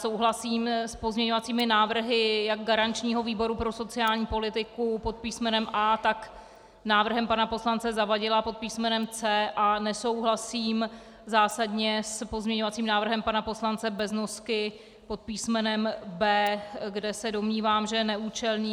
Souhlasím s pozměňovacími návrhy jak garančního výboru pro sociální politiku pod písmenem A, tak s návrhem pana poslance Zavadila pod písmenem C. Nesouhlasím zásadně s pozměňovacím návrhem pana poslance Beznosky pod písmenem B, kde se domnívám, že je neúčelný.